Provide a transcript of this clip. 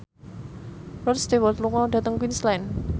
Rod Stewart lunga dhateng Queensland